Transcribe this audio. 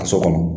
Ka so kɔnɔ